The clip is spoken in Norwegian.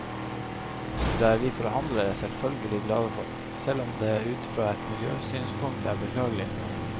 Det er vi forhandlere selvfølgelig glade for, selv om det ut fra et miljøsynspunkt er beklagelig.